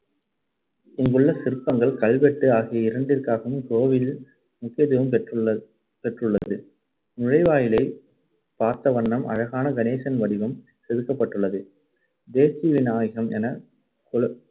இங்குள்ள சிற்பங்கள், கல்வெட்டு ஆகிய இரண்டிற்காகவும் கோவில் முக்கியத்துவம் பெற்றுள்~ பெற்றுள்ளது. நுழைவாயிலில் பார்த்தவண்ணம் அழகான கணேசனின் வடிவம் செதுக்கப்பட்டுள்ளது. தேசிவிநாயகம் என குல~